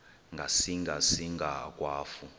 ngasinga singa akwafu